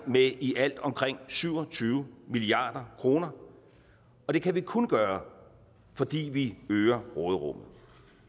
med i alt omkring syv og tyve milliard kroner og det kan vi kun gøre fordi vi øger råderummet